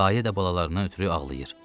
Dayə də balalarına ötrü ağlayır.